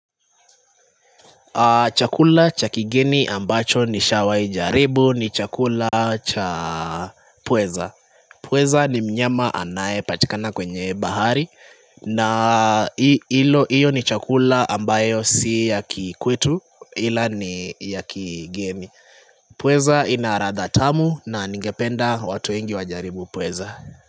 Chakula cha kigeni ambacho nishawahi jaribu ni chakula cha pweza Pweza ni mnyama anaye patikana kwenye bahari na hiyo ni chakula ambayo si ya kikwetu ila ni ya kigeni Pweza inaladha tamu na ningependa watu wengi wajaribu pweza.